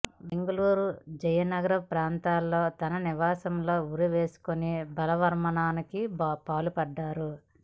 బెంగళూరు జయనగర ప్రాంతంలోని తన నివాసంలో ఉరి వేసుకుని బలవన్మరణానికి పాల్పడ్డారు